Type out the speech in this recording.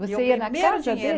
Você ia na casa de Meu primeiro